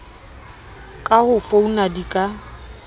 ka ho founa di ka